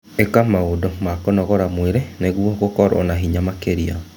ĩka maũndũ ma kũnogora mwĩrĩ nĩguo gũkorwo na hinya makĩria.